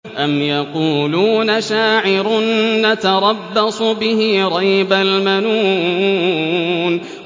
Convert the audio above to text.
أَمْ يَقُولُونَ شَاعِرٌ نَّتَرَبَّصُ بِهِ رَيْبَ الْمَنُونِ